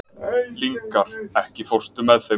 Lyngar, ekki fórstu með þeim?